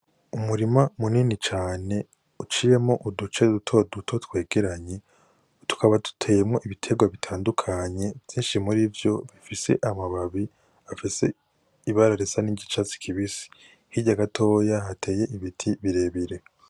Umurima munini cane uciremo uduce dutoduto twegeranye tukaba duteyemwo ibiterwa bitandukanye vyinshi muri vyo bifise amababi afise ibararesa n'ingicatsi kibisi hiryagatoya hateye ibiti birebire.